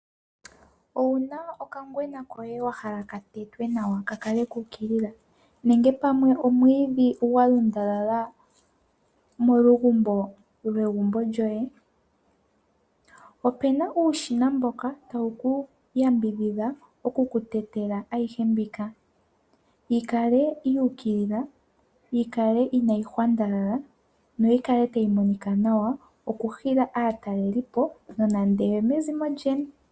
Owu na okangwena koye wa hala ka tetwe nawa ka kale ku ukilila nenge pwame omwiidhi gwa lundalala molugumbo lwegumbo lyoye? Opu na uushina mboka tawu ku yambidhidha okukutetela ayihe mbika yi kale yu ukilila, yi kale inaayi hwandalala noyi kale tayi monika nawa okuhila aatalelipo nande oyo mezimo lyoye.